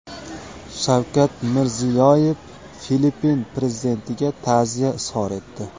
Shavkat Mirziyoyev Filippin prezidentiga ta’ziya izhor etdi.